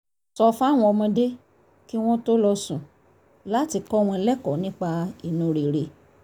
sọ fáwọn ọmọdé kí wọ́n tó lọ sùn láti kọ́ wọn lẹ́kọ̀ọ́ nípa inú rere